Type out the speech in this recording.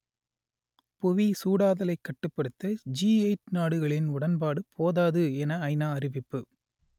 புவி சூடாதலைக் கட்டுப்படுத்த ஜி எயிட் நாடுகளின் உடன்பாடு போதாது என ஐ நா அறிவிப்பு